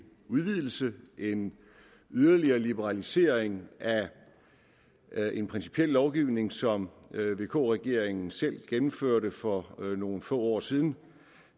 udvidelse en yderligere liberalisering af en principiel lovgivning som vk regeringen selv gennemførte for nogle få år siden